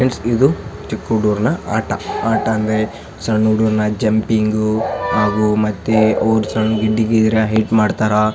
Friends ಇದು ಚಿಕ್ಕ ಹುಡರ್ಗನ ಆಟ ಆಟ ಅಂದ್ರೆ ಸಣ್ಣ ಹುಡುಗರೆಲ್ಲ ಜಂಪಿಂಗ್ ಹಾಗು ಮಧ್ಯೆ ಹೆಲ್ಪ್ ಮಾಡ್ತಾರಾ .